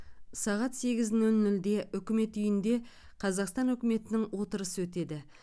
сағат сегіз нөл нөлде үкімет үйінде қазақстан үкіметінің отырысы өтеді